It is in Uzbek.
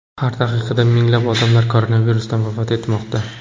Har daqiqada minglab odamlar koronavirusdan vafot etmoqda.